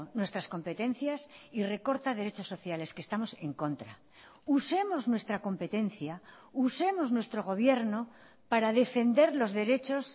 nuestras competencias y recorta derechos sociales que estamos en contra usemos nuestra competencia usemos nuestro gobierno para defender los derechos